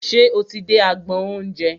Ṣe o ti dé agbọn oúnjẹ?